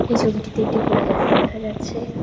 এই ছবিটিতে একটি খোলা জায়গা দেখা যাচ্ছে।